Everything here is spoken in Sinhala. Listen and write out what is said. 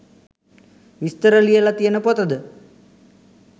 විස්තර ලියල තියන පොතද?